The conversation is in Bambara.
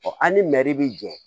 an ni bi jɔ